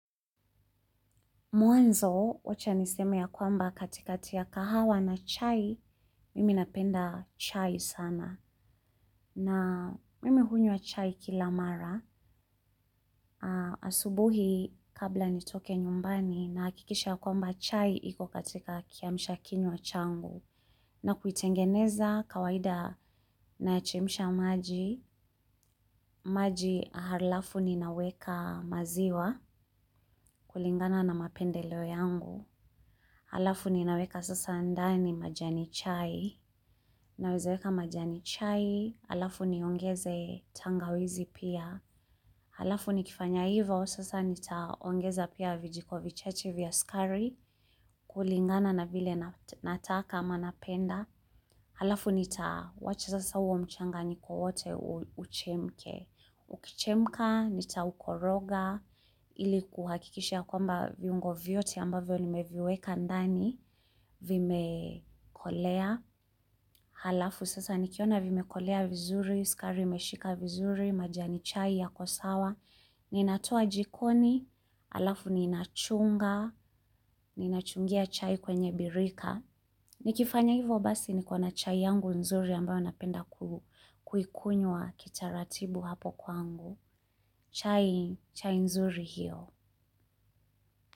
Mwanzo, wacha niseme ya kwamba katikati ya kahawa na chai, mimi napenda chai sana. Na mimi hunywa chai kila mara, asubuhi kabla nitoke nyumbani nahakikisha ya kwamba chai iko katika kiamsha kinywa changu. Na kuitengeneza kawaida nayachemsha maji, maji halafu ninaweka maziwa kulingana na mapendeleo yangu. Alafu ninaweka sasa ndani majani chai, nawezaweka majani chai, alafu niongeze tangawizi pia, alafu nikifanya ivo, sasa nitaongeza pia vijiko vichache vya skari, kulingana na vile nataka ama napenda. Alafu nitawacha sasa uo mchanganiko wote uchemke. Ukichemka, nitaukoroga, ili kuhakikisha ya kwamba viungo vyote ambavyo nimeviweka ndani, vimekolea. Halafu sasa nikiona vimekolea vizuri, skari imeshika vizuri, majani chai yako sawa. Ninatoa jikoni, alafu ninachunga, ninachungia chai kwenye birika. Nikifanya hivo basi niko na chai yangu nzuri ambayo napenda kuikunywa kitaratibu hapo kwangu. Chai, chai nzuri hiyo.